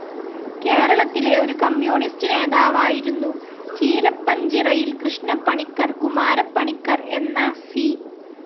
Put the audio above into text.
കേരളത്തിലെ ഒരു കമ്മ്യൂണിസ്റ്റ്‌ നേതാവായിരുന്നു ചീരപ്പഞ്ചിറയിൽ കൃഷ്ണപ്പണിക്കർ കുമാരപ്പണിക്കർ എന്ന സി.